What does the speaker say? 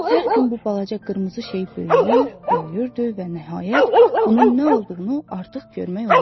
Hər gün bu balaca qırmızı şey böyüyür, böyüyürdü və nəhayət bunun nə olduğunu artıq görmək olurdu.